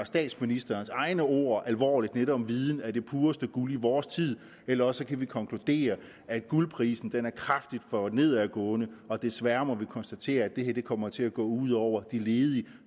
statsministerens egne ord alvorligt om at viden er det pureste guld i vores tid eller også kan vi konkludere at guldprisen er kraftigt for nedadgående desværre må vi konstatere at det her kommer til at gå ud over de ledige